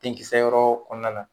Denkisɛyɔrɔ kɔnɔna na